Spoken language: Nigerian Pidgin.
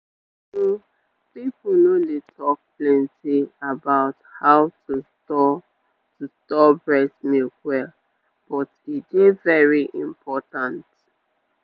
true true pipo no dey talk plenty about how to store to store breast milk well but e dey very important.